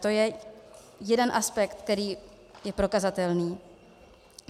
To je jeden aspekt, který je prokazatelný.